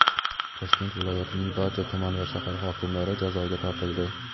Toshkent viloyatining barcha tuman va shahar hokimlari jazoga tortildi.